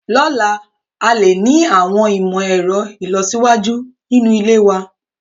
Lọ́la, a lè ní àwọn ìmọ̀ ẹ̀rọ ìlọsíwájú nínú ilé wa.